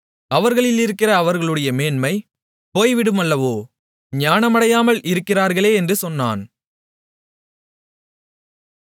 அவர்களிலிருக்கிற அவர்களுடைய மேன்மை போய்விடுமல்லவோ ஞானமடையாமல் இறக்கிறார்களே என்று சொன்னான்